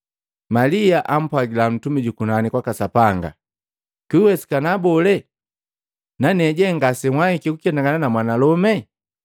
Malia ampwagila ntumi jukunani kwaka Sapanga, “Kwiwesikana bole, naneje ngasewahiki kuketangana namwanalome?”